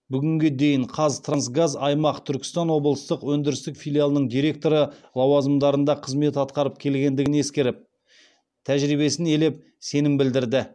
бүгінге дейін қазтрансгаз аймақ түркістан облыстық өндірістік филиалының директоры лауазымдарында қызмет атқарып келгендігін ескеріп тәжірибесін елеп сенім білдірді